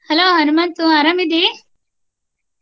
Hello Hanamantu ಅರಾಮ ಇದಿ?